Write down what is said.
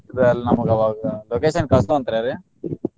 ಅದು ಅಲ್ದ ನಮಗ ಅವಾಗ location ಕಳ್ಸುವಂತ್ರಿರೀ.